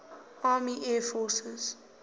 army air forces